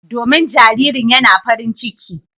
Domin jaririn yana farin ciki.